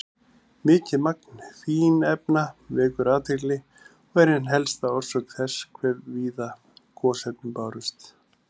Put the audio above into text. Mikið magn fínefna vekur athygli og er ein helsta orsök þess hve víða gosefnin bárust.